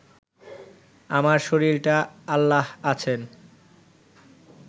আমার শরীরটা আল্লাহ আছেন